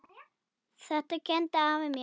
Þetta kenndi afi mér.